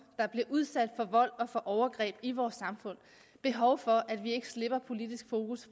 der bliver udsat for vold og for overgreb i vores samfund behov for at vi ikke slipper politisk fokus